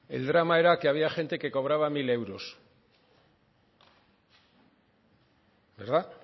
el drama era que había gente que cobraba mil euros verdad